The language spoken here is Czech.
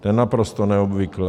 To je naprosto neobvyklé.